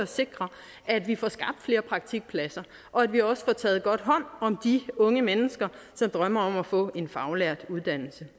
sikre at vi får skabt flere praktikpladser og at vi også får taget godt hånd om de unge mennesker som drømmer om at få en faglært uddannelse